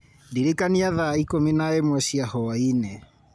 ndririkania thaa ikũmi na ĩmwe cia hwaĩinĩ